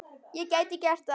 Ég gæti gert það.